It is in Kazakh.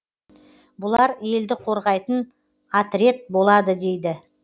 бұлар елді қорғайтын атрет болады деді